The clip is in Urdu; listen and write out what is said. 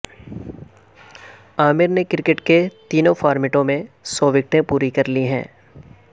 عامر نے کرکٹ کے تینوں فارمیٹوں میں سو وکٹیں پوری کر لی ہیں